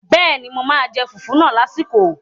Bẹ́ẹ̀ni, mo máa jẹ fùfú náà lásìkò